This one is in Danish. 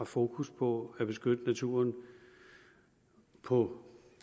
fokus på at beskytte naturen på